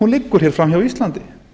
liggur hér framhjá íslandi